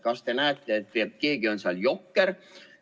Kas te näete, et keegi on seal jokker?